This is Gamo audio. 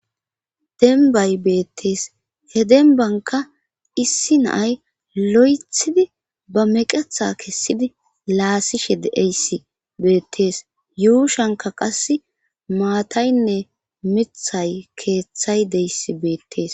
Denbay beettees he denbanka issi naay lo'ethidi ba meqetha kessidi laassishe deeyssi beettees yuushanka qass maataynne mithay keeththay deyssi beettees.